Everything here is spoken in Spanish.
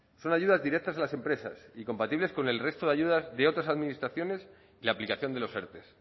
son ayudas directas a las empresas y compatibles con el resto de ayudas de otras administraciones y la aplicación de los erte